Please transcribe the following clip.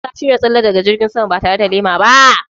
Shin ka shirya tsalle daga jirgin sama ba tare da lema ba?